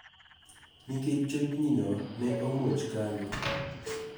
Nikech chochni no ne omuoch kanyo,